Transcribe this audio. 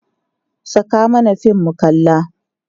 Saka mana fim mu kalla!